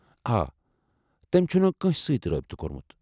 آ، تٔم چھُنہٕ کٲنٛسہِ سۭتۍ رٲبطہٕ کوٚرمُت۔